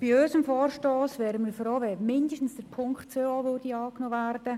Bei unserem Vorstoss wären wir froh, wenn zumindest Punkt 2 angenommen würde.